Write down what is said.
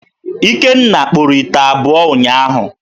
Ikenna kpụrụ ite abụọ ụnyaahụ.